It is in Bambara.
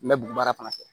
N bɛ bugun baara fana kɛ